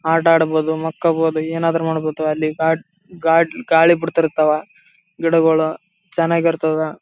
ಆಟ ಆಡ್ಬೋದು ಮಕ್ಕೋಬಹುದು ಏನಾದ್ರು ಮಾಡ್ಬಹುದು ಅಲ್ಲಿ ಗಾ ಗಾಡಿ ಗಾಳಿ ಬಡ್ತಿರ್ತವ ಗಿಡಗಳು ಚೆನ್ನಾಗಿರ್ತದ.